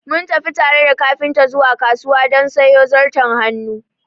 Mun tafi tare da kafinta zuwa kasuwa don sayo zarton hannu